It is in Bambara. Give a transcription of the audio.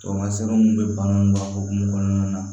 Tamasɛn munnu be baganw ka hukumu kɔnɔna na